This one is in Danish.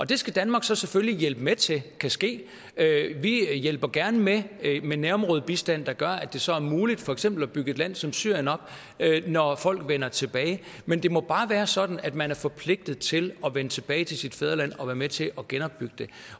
det skal danmark så selvfølgelig hjælpe med til kan ske vi hjælper gerne med nærområdebistand der gør at det så er muligt for eksempel at bygge et land som syrien op når folk vender tilbage men det må bare være sådan at man er forpligtet til at vende tilbage til sit fædreland og være med til at genopbygge